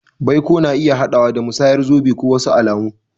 Baiko na iya haɗawa da musayar zobe ko wasu alamu.